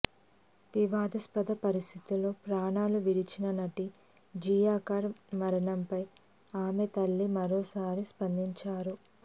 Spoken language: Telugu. వివాదాస్పద పరిస్థితిలో ప్రాణాలు విడిచిన నటి జియా ఖాన్ మరణంపై ఆమె తల్లి మరోసారి స్పందించారు